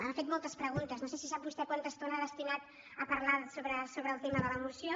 ha fet moltes preguntes no sé si sap vostè quanta estona ha destinat a parlar sobre el tema de la moció